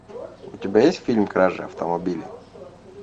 у тебя есть фильм кража автомобиля